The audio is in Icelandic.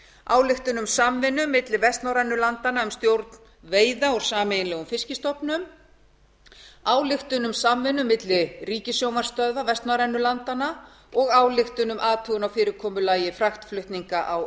ályktun um samvinnu milli vestnorrænu landanna um stjórn veiða úr sameiginlegum fiskstofnum ályktun um samvinnu milli ríkissjónvarpsstöðva vestnorrænu landanna ályktun um athugun á fyrirkomulagi fraktflutninga á